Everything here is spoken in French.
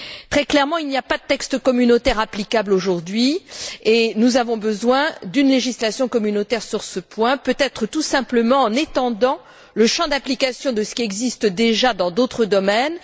Très clairement, il n'y a pas de texte communautaire applicable aujourd'hui, et nous avons besoin de nous doter d'une législation communautaire sur ce point, peut être en étendant tout simplement le champ d'application de ce qui existe déjà dans d'autres domaines.